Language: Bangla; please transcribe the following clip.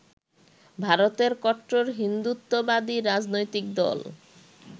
ভারতের কট্টর হিন্দুত্ববাদী রাজনৈতিক দল